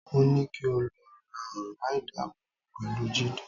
Mo ní kí o lo ọ̀rá ìdábòbò pẹ̀lú Jídé